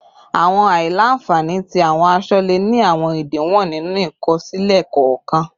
Awọn aila-nfani ti awọn aṣọ le ni awọn idiwọn ninu ikosile kọọkan